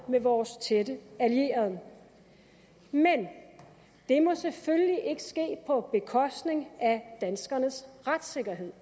med vores tætte allierede men det må selvfølgelig ikke ske på bekostning af danskernes retssikkerhed